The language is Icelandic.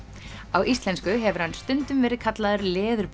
á íslensku hefur hann stundum verið kallaður